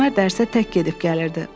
Əsmər dərsə tək gedib-gəlirdi.